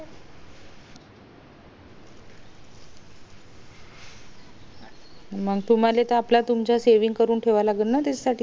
मंग तुम्हला तुमचे सेविंग करून ठेवावे लागेल ना त्याच्या साठी पुढचं